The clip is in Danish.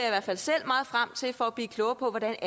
i hvert fald selv meget frem til for at blive klogere på hvordan